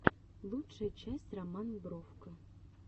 лучшая часть роман бровко